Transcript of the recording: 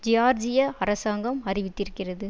ஜியார்ஜிய அரசாங்கம் அறிவித்திருக்கிறது